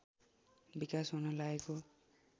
विकास हुन लागेको